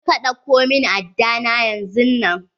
Je ka ɗauko min aɗɗa na yanzun nan.